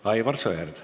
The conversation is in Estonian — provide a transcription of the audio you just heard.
Aivar Sõerd.